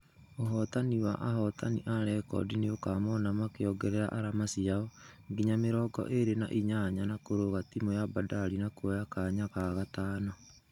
Ũhotani wa ahotani a rekodi nĩukamona makĩongerera arama cĩao nginya mĩrongo ĩrĩ na inyanya na kũrũga timu ya bandari na kuoya kanya ga gatano.